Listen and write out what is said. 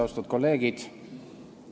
Austatud kolleegid!